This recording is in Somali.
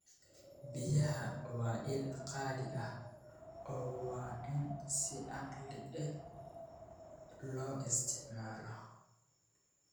Biyaha waa il qaali ah oo waa in si caqli leh loo isticmaalo.